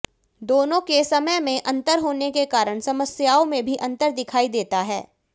दोनों के समय में अंतर होने के कारण समस्याओं में भी अंतर दिखाई देता है